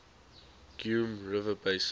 geum river basin